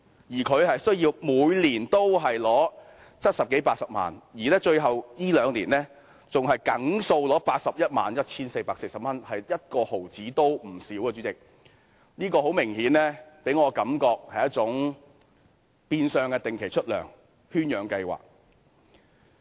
但他們每年須領取七十多八十萬元，而最近這兩年還固定領取 811,440 元，一毫子也不缺少，主席，這給我的感覺很明顯，它是一種變相的定期出糧圈養計劃。